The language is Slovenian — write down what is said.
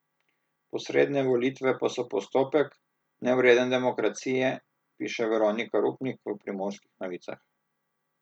Posredne volitve pa so postopek, nevreden demokracije, piše Veronika Rupnik v Primorskih novicah.